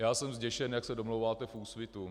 Já jsem zděšen, jak se domlouváte v Úsvitu.